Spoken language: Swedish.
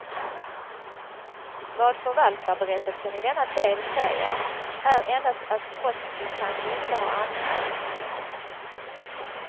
Vad förvaltarberättelsen i denna del säger är endast att brottsmisstanke inte har anmälts.